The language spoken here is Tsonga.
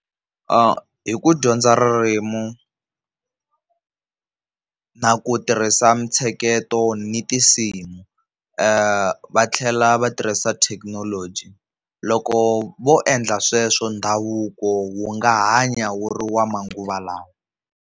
Hi ku dyondza ririmu na ku tirhisa mitsheketo ni tinsimu, va tlhela va tirhisa thekinoloji loko vo endla sweswo ndhavuko wu nga hanya wu ri wa manguva lawa.